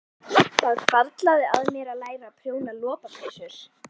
Það hvarflaði að mér að læra að prjóna lopapeysur.